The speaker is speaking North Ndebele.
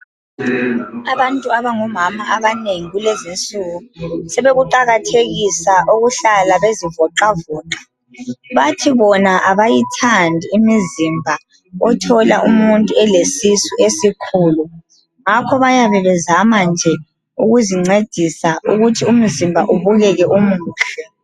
Abantu abangomama abanengi kulezinsuku sebekuqakathekisa ukuhlala bezivoxavoxa. Bathi bona abayithandi imizimba othola umuntu elesisu esikhulu ngakho bayabe bezama nje ukuzincedisa ukuthi umzimba ubukeke umuhle.